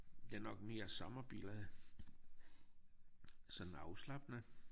Det nok mere sommerbillede sådan afslappende